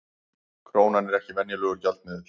Krónan er ekki venjulegur gjaldmiðill